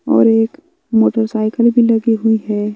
और एक मोटरसाइकिल भी लगी हुई है।